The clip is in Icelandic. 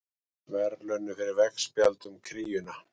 Verðlaunuð fyrir veggspjald um kríuna